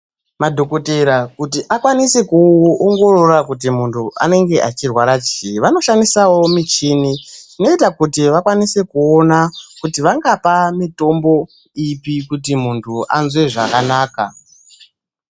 Madhokoteya kuti akwanise kuongorora kuti muntu uyu anenge achirwara chii vanoshandisawo michini inoita kuti vakwanisewo kuona kuti vangapa mitombo ipi kuti muntu anzwe zvakanaka